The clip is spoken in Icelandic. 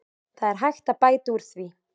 Það er hægt að bæta úr því.